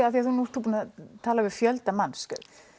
af því nú ert þú búinn að tala vil fjölda manns